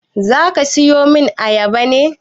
Zaka siyomin ayaban ne?